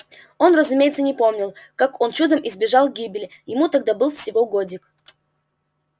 он разумеется не помнил как он чудом избежал гибели ему тогда был всего годик